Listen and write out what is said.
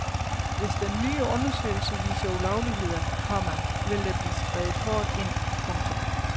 Hvis den nye undersøgelse viser ulovligheder, komma vil der blive skredet hårdt ind. punktum